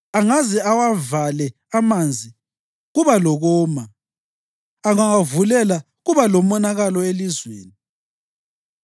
Angaze awavale amanzi, kuba lokoma; angawavulela kuba lomonakalo elizweni.